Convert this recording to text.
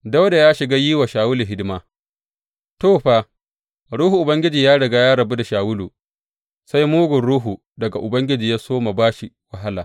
Dawuda ya shiga yin wa Shawulu hidima To, fa, Ruhun Ubangiji ya riga ya rabu da Shawulu, sai mugun ruhu daga Ubangiji ya soma ba shi wahala.